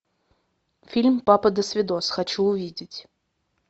фильм папа досвидос хочу увидеть